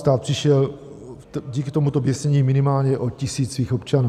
Stát přišel díky tomuto běsnění minimálně o tisíc svých občanů.